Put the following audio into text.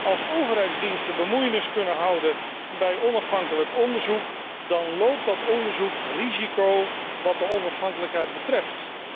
Als overheidsdiensten zich kunnen bemoeien met onafhankelijk onderzoek, dan loopt dat onderzoek risico wat de onafhankelijkheid betreft.